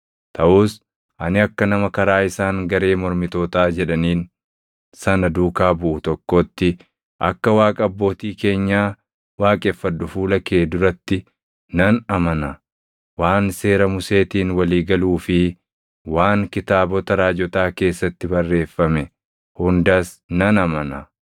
Taʼus ani akka nama karaa isaan garee mormitootaa jedhaniin sana duukaa buʼu tokkootti akka Waaqa abbootii keenyaa waaqeffadhu fuula kee duratti nan amana. Waan seera Museetiin walii galuu fi waan kitaabota raajotaa keessatti barreeffame hundas nan amana.